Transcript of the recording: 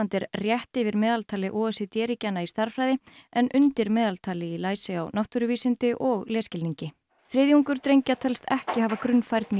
er rétt yfir meðaltali o e c d ríkjanna í stærðfræði en undir meðaltali í læsi á náttúruvísindi og lesskilningi þriðjungur drengja telst ekki hafa grunnfærni